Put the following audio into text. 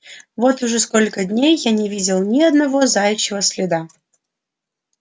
вот уже сколько дней я не видел ни одного заячьего следа